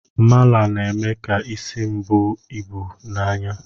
Mala na-eme ka isi m buo ibu na anya